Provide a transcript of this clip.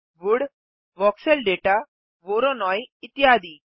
would voxel दाता Voronoi इत्यादि